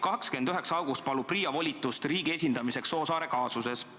29. augustil palus PRIA volitust riigi esindamiseks Soosaarte kaasuses.